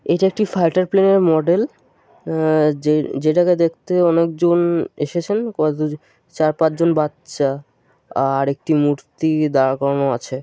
এইটা একটি fighter plane -এর মডেল । আ- যেটাকে দেখতে অনেক জন এসেছেন। কতজন চার পাঁচ জন বাচচা। আর একটি মূর্তি দাঁড় করানো আছে ।